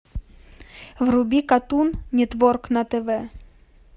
вруби катун нетворк на тв